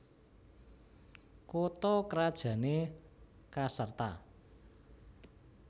Kutha krajané Caserta